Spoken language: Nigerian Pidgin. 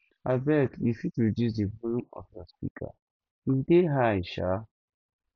abeg you fit reduce di volume of your speaker e dey high um